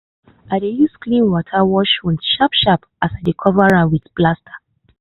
i dey use clean water wash wound sharp sharp and i dey cover am with plaster.